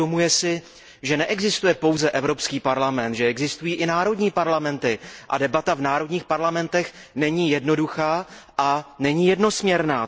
Uvědomuje si, že neexistuje pouze Evropský parlament, že existují i národní parlamenty a že debata v národních parlamentech není jednoduchá a není jednosměrná.